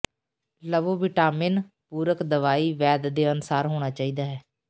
ਲਵੋ ਵਿਟਾਮਿਨ ਪੂਰਕ ਦਵਾਈ ਵੈਦ ਦੇ ਅਨੁਸਾਰ ਹੋਣਾ ਚਾਹੀਦਾ ਹੈ